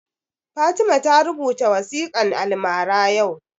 Fatima ta rubuta waƙan almara yau